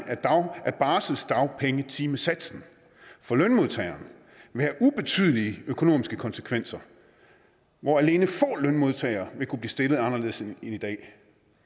af barselsdagpengetimesatsen for lønmodtagere vil have ubetydelige økonomiske konsekvenser hvor alene få lønmodtagere vil kunne blive stillet anderledes end i dag